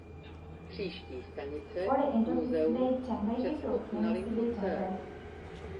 ore entoki sidai tenkae kitok nemesidai tenkae.